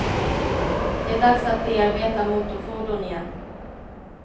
Det är dags att bearbeta motorfordon igen.